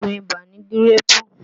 Òògùn ibà ni gíréèpù